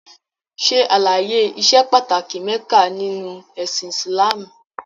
Ṣè alàye ìṣè pàtàkì Mekka nínu ẹ̀sìn Islamú!